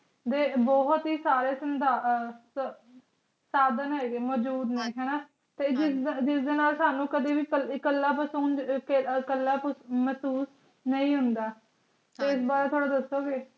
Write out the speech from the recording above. ਦੇ ਬੋਹਤ ਈ ਸਾਰੇ ਸਾਧਨ ਹੇਗੇ ਮੋਜੋੜ ਨੇ ਹਾਨਾ ਤੇ ਜਿਸ ਦੇ ਨਾਲ ਸੌ ਕਦੀ ਵੀ ਕਲਾ ਮੇਹ੍ਸੋਸ ਨਾਈ ਹੁੰਦਾ ਏਸ ਬਾਰੇ ਥੋਰਾ ਦਸੋ ਗੇ